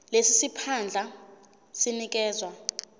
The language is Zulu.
lesi siphandla sinikezwa